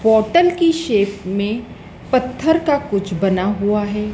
Bottle की shape में पत्थर का कुछ बना हुआ है।